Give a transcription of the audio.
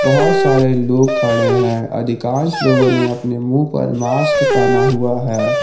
बहुत सारे लोग खड़े हैं अधिकांश लोगों ने अपने मुंह पर मास्क पहना हुआ है।